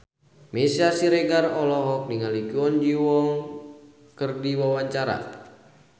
Meisya Siregar olohok ningali Kwon Ji Yong keur diwawancara